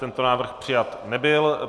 Tento návrh přijat nebyl.